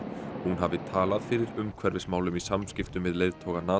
hún hafi talað fyrir umhverfismálum í samskiptum við leiðtoga